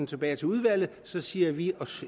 tilbage til udvalget siger vi